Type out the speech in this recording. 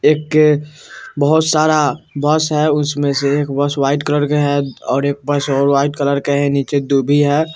एक बहोत सारा बस है उसमें से एक बस व्हाइट कलर का है और एक बस और व्हाइट कलर का है नीचे और दुभी है।